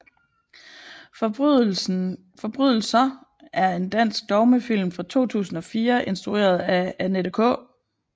Forbrydelser er en dansk dogmefilm fra 2004 instrueret af Annette K